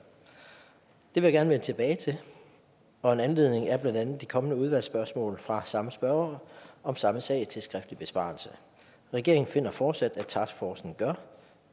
det vil jeg gerne vende tilbage til og en anledning er blandt andet de kommende udvalgsspørgsmål fra samme spørger om samme sag til skriftlig besvarelse regeringen finder fortsat at taskforcen gør